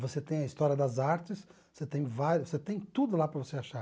Você tem a história das artes, você tem vários você tem tudo lá para você achar.